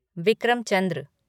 Vikram Chandra